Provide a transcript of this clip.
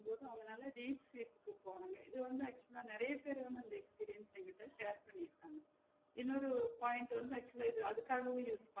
திடிருன்னு அதுனால குடுத்துருவாங்க இது வந்து actual ஆ நெறைய பேர் வந்து அந்த experience அ என்கிட்ட share பண்ணி இருப்பாங்க இன்னோறொரு point வந்து actual ஆ அதுக்காகவே